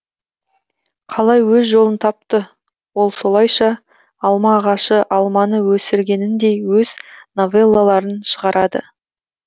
қалай өз жолын тапты ол солайша алма ағашы алманы өсіргеніндей өз новеллаларын шығарады